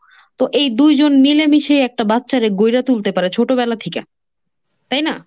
তো এই দুইজন মিলেমিশে একটা বাচ্চারে গইড়া তুলতে পারে, ছোটবেলা থিকা। তাই না?